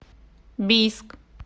бийск